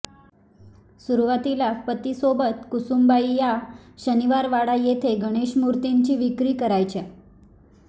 सुरुवातीला पतीसोबत कुसुमबाई या शनिवारवाडा येथे गणेशमूर्तींची विक्री करायच्या